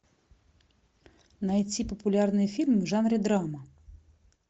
найти популярный фильм в жанре драма